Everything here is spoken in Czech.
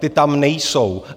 Ty tam nejsou.